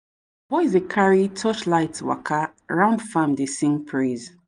boys dey carry torchlight waka round farm dey sing praise.